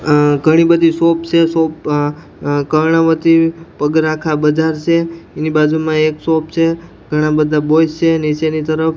અ ઘણી બધી શોપ છે શોપ અ અ કર્ણાવતી પગરાખા બજાર છે એની બાજુમાં એક શોપ છે ઘણા બધા બોય્સ છે નીચેની તરફ --